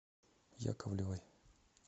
яковлевой